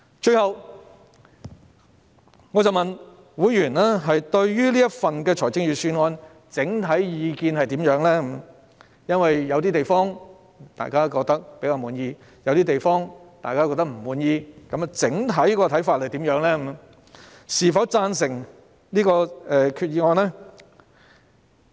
最後，我詢問會員對這份預算案的整體意見為何，因為有些地方大家較為滿意，但亦有些地方大家都感到不滿意，於是我問他們的整體意見，是否贊成這項決議案？